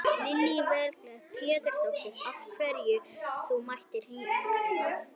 Lillý Valgerður Pétursdóttir: Af hverju ert þú mættur hingað í dag?